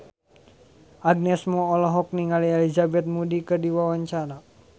Agnes Mo olohok ningali Elizabeth Moody keur diwawancara